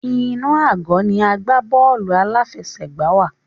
Inú àgọ́ ni à ń gbá bọ́ọ̀lù aláfẹsẹ̀gbá wa.